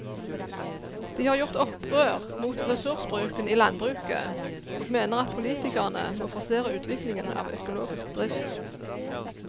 De har gjort opprør mot ressursbruken i landbruket og mener at politikerne må forsere utviklingen av økologisk drift.